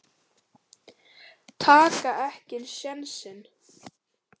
Taka ekki sénsinn.